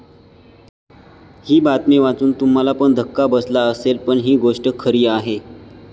ही बातमी वाचून तुम्हाला पण धक्का बसला असेल पण ही गोष्ट खरी आहे.